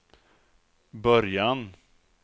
början